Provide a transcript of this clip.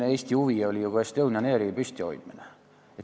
Eesti huvi oli ju ka Estonian Airi püsti hoida.